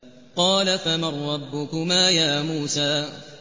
قَالَ فَمَن رَّبُّكُمَا يَا مُوسَىٰ